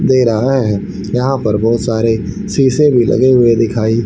दे रहा है यहां पर बहोत सारे शीशे भी लगे हुए दिखाई--